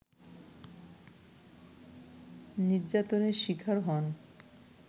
নির্যাতনের শিকার হন